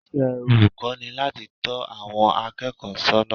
Iṣẹ́ olùkọ́ ni láti tọ́ àwọn akẹ́kọ̀ọ́ sọ́nà